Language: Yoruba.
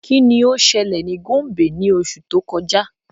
Kini o ṣẹlẹ ni Gombe ni oṣu to kọja?